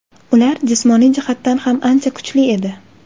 Ular jismoniy jihatdan ham ancha kuchli edi.